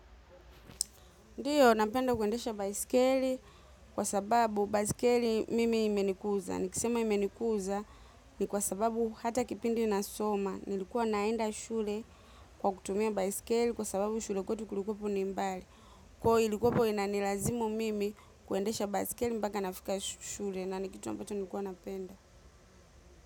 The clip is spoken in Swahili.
Ndiyo, napenda kuendesha baiskeli kwa sababu baiskeli mimi imenikuza. Nikisema imenikuza ni kwa sababu hata kipindi ninasoma. Nilikuwa naenda shule kwa kutumia baisikeli kwa sababu shule kwetu kulikuwepo ni mbali. Kwa hivyo ilikuwepo inanilazimu mimi kuendesha baisikeli mpaka nafika shule na ni kitu ambacho nikuwa napenda.